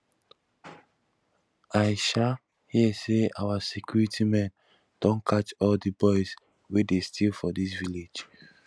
i um hear say our security men don catch all the boys wey dey steal for dis village